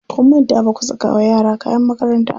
Kun manta baku saka wa yara kayan makaranta ba.